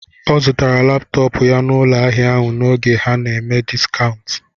Ọ zụtara laptọọpụ ya n'ụlọ ahịa ahụ n'oge ha nà-eme dịskántù